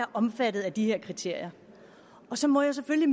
omfattet af de her kriterier så må jeg selvfølgelig